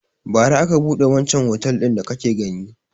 Bara aka buɗe wancan otel din da kake gani.